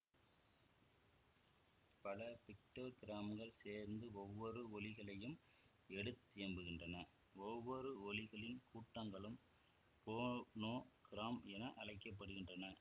பல பிக்டோகிராம்கள் சேர்ந்து ஒவ்வொரு ஒலிகளையும் எடுத்தியம்புகின்றன ஒவ்வொரு ஒலிகளின் கூட்டங்களும் போனோகிராம் என அழைக்க படுகின்றன